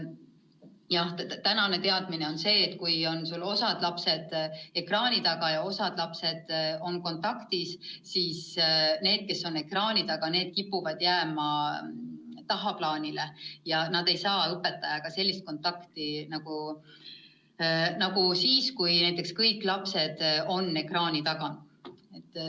Jah, senine teadmine on see, et kui sul on osa lapsi ekraani taga ja osa lapsi klassis kohal, siis need, kes on ekraani taga, kipuvad jääma tagaplaanile ja nad ei saa õpetajaga nii head kontakti, nagu saaksid siis, kui kõik lapsed on ekraani taga.